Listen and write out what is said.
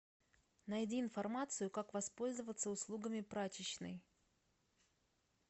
найди информацию как воспользоваться услугами прачечной